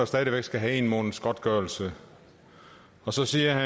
stadig væk skal have en måneds godtgørelse og så siger